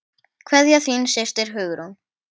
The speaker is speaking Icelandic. Kveðja, þín systir, Hugrún.